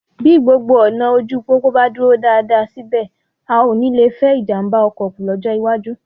Bí gbogbo ọ̀nà ojú pópó bá dúró dáadáa, síbẹ̀, a ó nì lè fẹ́ ìjàmbá ọkọ kù lọ́jọ́ iwájú